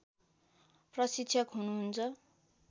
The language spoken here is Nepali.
प्रशिक्षक हुनुहुन्छ